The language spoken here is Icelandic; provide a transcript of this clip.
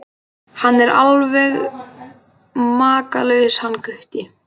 Hann er alveg makalaus hann Gutti.